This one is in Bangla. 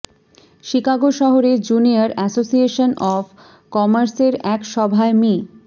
শিকাগো শহরে জুনিয়র অ্যাসোসিয়েশন অব কমার্সের এক সভায় মি